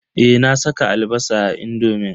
Eh, na saka albasa a indomin.